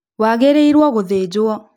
Wagĩrĩirwo gũthĩnjwo